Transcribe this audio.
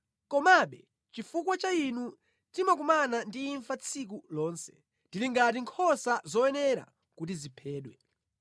Komabe chifukwa cha Inu timakumana ndi imfa tsiku lonse, tili ngati nkhosa zoyenera kuti ziphedwe.